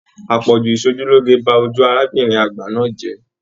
Àpọ̀jù ìsòjúloge ba ojú arábìnrin àgbà náà jẹ.